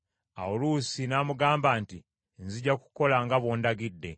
Awo Luusi n’amugamba nti, “Nzija kukola nga bw’ondagidde.”